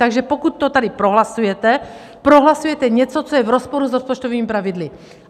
Takže pokud to tady prohlasujete, prohlasujete něco, co je v rozporu s rozpočtovými pravidly.